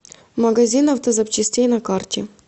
магазин автозапчастей на карте